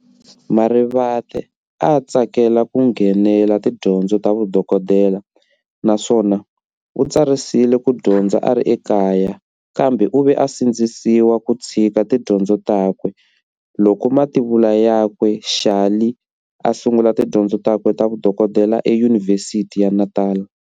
Marivate a a tsakela ku nghenela tidyondzo ta vudokodela, naswona u tsarisile kudyondza ari ekaya, kambe uve a sindziseka ku tshika tidyondzo takwe, loko mativula yakwe Charley a ta sungula tidyondzo takwe ta vudokodela e yunivhesithi ya Natala.